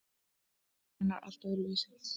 Sálin er allt öðruvísi.